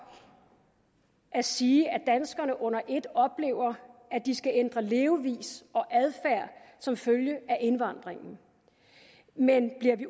at sige at danskerne under et oplever at de skal ændre levevis og adfærd som følge af indvandringen men bliver vi